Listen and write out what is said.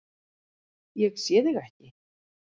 Ég sé þig ekki.